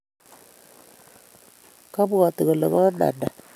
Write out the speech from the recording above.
Kabwoti kole komaande